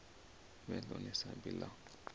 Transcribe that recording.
vhe ḽone sambi ḽavho ḽa